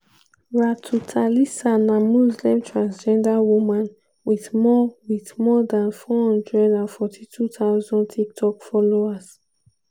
ratu thalisa na muslim transgender woman wit more wit more dan 442000 tiktok followers.